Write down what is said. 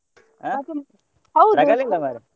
ಇಲ್ಲ ಮರ್ರೆ.